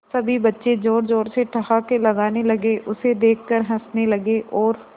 सभी बच्चे जोर जोर से ठहाके लगाने लगे उसे देख कर हंसने लगे और